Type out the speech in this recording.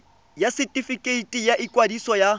ya setefikeiti sa ikwadiso ya